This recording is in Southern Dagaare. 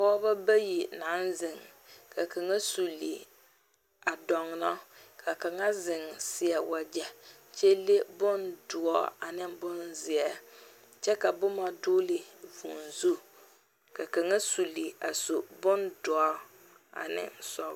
pɔgeba bayi naŋ zeŋ ka kaŋa suli a dɔnno ka kaŋa zeŋ seɛ wagyɛ kyɛ le bondoɔre ane bonzeɛ, kyɛ ka boma dogeli vʋʋ zu, ka kaŋa suli a su bondoɔre ane sɔglɔ